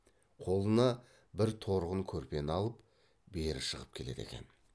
қолына бір торғын көрпені алып бері шығып келеді екен